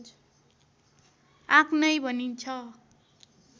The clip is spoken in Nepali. आँक नै भनिन्छ